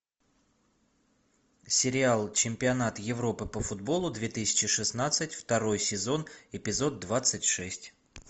сериал чемпионат европы по футболу две тысячи шестнадцать второй сезон эпизод двадцать шесть